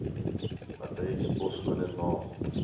adres poskode naam